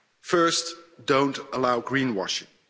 First, don't allow green washing.